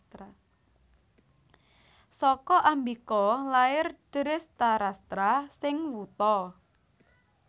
Saka Ambika lair Drestarastra sing wuta